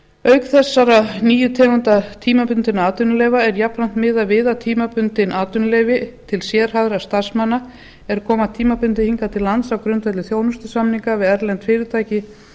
auk þessara nýju tegunda tímabundinna atvinnuleyfa er jafnframt miðað við að tímabundin atvinnuleyfi til sérhæfðra starfsmanna er koma tímabundið hingað til lands á grundvelli þjónustusamninga við erlend fyrirtæki